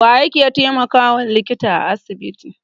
Waye yake taimakawa likita a asibiti?